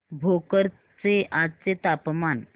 भोकर चे आजचे तापमान